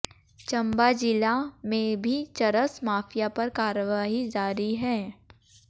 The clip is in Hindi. चंबा जिला में भी चरस माफिया पर कार्रवाई जारी है